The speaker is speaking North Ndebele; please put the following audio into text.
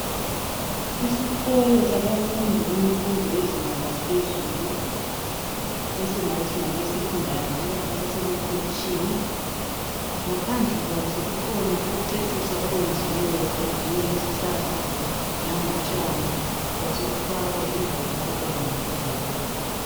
Isikolo sabafundi bemfundo yezinga laphezulu esingathi ngabeSekhondari loba abasemakolitshini .Ngaphandle kwaso kukhona ukuceciswa okwenziweyo kwenziwe ngezihlahla kanye langotshani kwasekufakwa indawo yabantwana eyokudlalela.